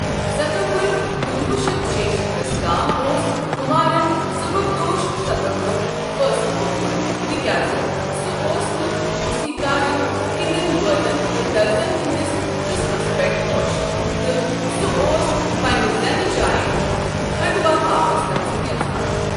ستمبر کنوہ شٮ۪تھ ستِشیٖتھس تام اوس كمارن سُبكدوش سپدنُک فٲصلہٕ كوٚرت تہ كیٛاز سہ اوس نہٕ موسیكارن ہندین بٲتن تہٕ ترززن ہٕنٛدس قٕسمس پیٹھ خوٚش ، تہٕ سہ اوس پنٛنہِ زینہٕ جایہ كھانڈوا واپس گژھن یژھان